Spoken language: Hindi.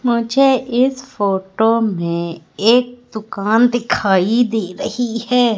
मुझे इस फोटो में एक दुकान दिखाई दे रही है।